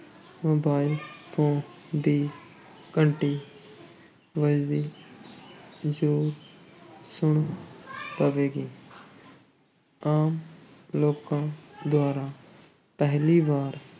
Mobile phone ਦੀ ਘੰਟੀ ਵੱਜਦੀ ਜ਼ਰੂਰ ਸੁਣ ਪਵੇਗੀ ਆਮ ਲੋਕਾਂ ਦੁਆਰਾ ਪਹਿਲੀ ਵਾਰ